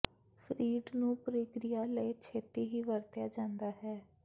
freight ਨੂੰ ਪ੍ਰਕਿਰਿਆ ਲਈ ਛੇਤੀ ਹੀ ਵਰਤਿਆ ਜਾਂਦਾ ਹੈ